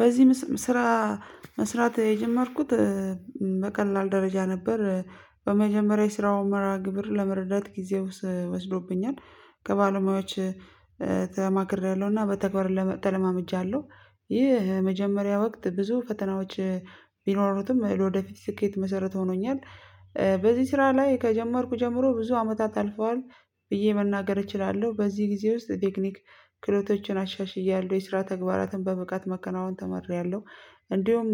በዚህ ስራ መስራት የጀመርኩት በቀላል ደረጃ ነበር። በመጀመሪያ የስራውን መርሃ ግብር ለመረዳት ጊዜ ውስ ወስዶብኛል። ከባለሙያዎች ተማክሬያለሁና በተግባር ለመ ተለማምጃለሁ ይህ መጀመሪያ ወቅት ብዙ ፈተናዎች ቢኖሩትም ለወደፊት ስኬት መሰረት ሆኖኛል። በዚህ ስራ ላይ ከጀመርኩ ጀምሮ ብዙ አመታት አልፈዋል። ብዬ መናገር እችላለሁ በዚህ ጊዜ ውስጥ ቴክኒክ ክህሎቶችን አሻሽያለሁ የስራ ተግባራትን በብቃት መከናወን ተምሪያለሁ። እንዲሁም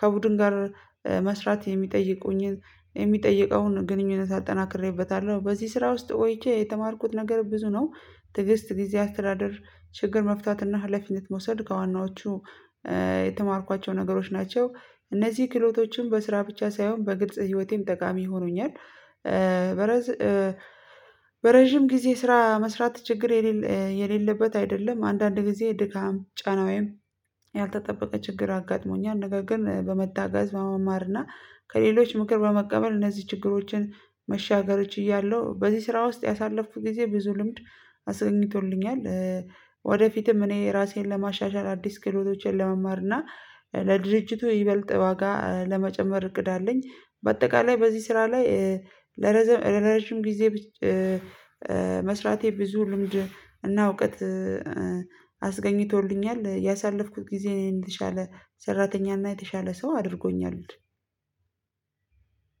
ከቡድን ጋር መስራት የሚጠይቁኝን የሚጠይቀውን ግንኙነት አጠናክሬበታለሁ በዚህ ስራ ውስጥ ቆይቼ የተማርኩት ነገር ብዙ ነው። ትዕግስት ጊዜ አስተዳደር ችግር መፍታት እና ሀላፊነት መውሰድ ከዋናዎቹ የተማርኳቸው ነገሮች ናቸው። እነዚህ ክህሎቶችም በስራ ብቻ ሳይሆን በግልጽ ህይወቴም ጠቃሚ ሆኖኛል። በረዥም ጊዜ ስራ መስራት ችግር የሌለ የሌለበት አይደለም አንዳንድ ጊዜ ድካም ጫና ወይም ያልተጠበቀ ችግር አጋጥሞኛል ነገር ግን በመታገዝ በመማርና ከሌሎች ምክር በመቀበል እነዚህ ችግሮችን መሻገር ችያለሁ። በዚህ ስራ ውስጥ ያሳለፍኩት ጊዜ ብዙ ልምድ አስገኝቶልኛል። ወደፊትም እኔ ራሴን ለማሻሻል አዲስ ክህሎቶቼን ለመማር እና ለድርጅቱ ይበልጥ ዋጋ ለመጨመር እቅድ አለኝ። በአጠቃላይ በዚህ ስራ ላይ ለረዥም ጊዜ መስራቴ ብዙ ልምድ እና እውቀት አስገኝቶልኛል። ያሳለፍኩት ጊዜ እኔ የተሻለ ሰራተኛ እና የተሻለ ሰው አድርጎኛል።